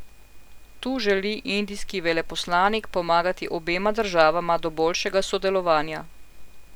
Tu želi indijski veleposlanik pomagati obema državama do boljšega sodelovanja.